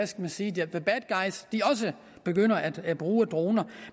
skal jeg sige the bad guys begynder at bruge droner